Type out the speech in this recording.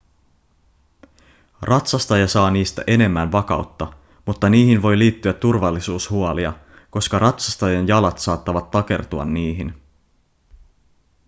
ratsastaja saa niistä enemmän vakautta mutta niihin voi liittyä turvallisuushuolia koska ratsastajan jalat saattavat takertua niihin